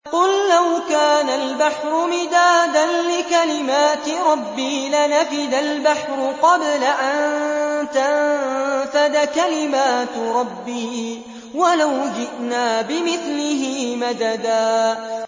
قُل لَّوْ كَانَ الْبَحْرُ مِدَادًا لِّكَلِمَاتِ رَبِّي لَنَفِدَ الْبَحْرُ قَبْلَ أَن تَنفَدَ كَلِمَاتُ رَبِّي وَلَوْ جِئْنَا بِمِثْلِهِ مَدَدًا